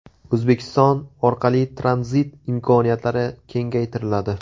O‘zbekiston orqali tranzit imkoniyatlari kengaytiriladi.